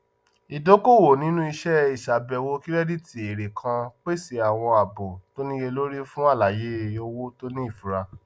ìdókoòwò nínú iṣẹ ìsabẹwò kìrẹdítì ere kan pèsè àwọn àbò tó níyelórí fún àlàyé owó tó ní ìfura